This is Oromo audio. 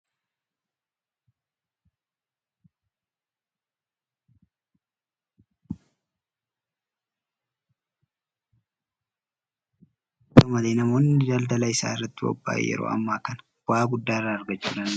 Yeroo baay'ee namoonni nyaata isaanii keessatti Zayita hinargine taanaan itti hintolu. Faallaa isaa immoo namoonni isatti fayyadamuu hinbarbaannes jiru. Haata'u malee namoonni daldala isaa irratti bobba'an yeroo ammaa kana bu'aa guddaa irraa argachuu danda'aniiru.